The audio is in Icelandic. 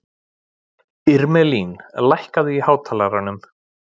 Irmelín, lækkaðu í hátalaranum.